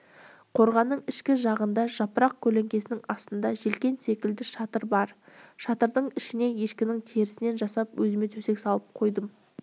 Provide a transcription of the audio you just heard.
қорғанның ішкі жағында жапырақ көлеңкесінің астында желкен секілді шатыр бар шатырдың ішіне ешкінің терісінен жасап өзіме төсек салып қойдым